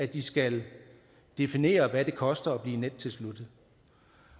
de skal definere hvad det koster at blive nettilsluttet